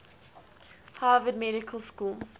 harvard medical school